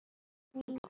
Við köllum þá hvali.